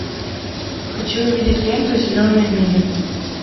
хочу увидеть ленту зеленая миля